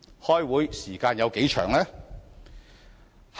開會時間有多長？